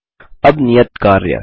अब नियत कार्य